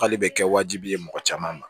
K'ale bɛ kɛ wajibi ye mɔgɔ caman ma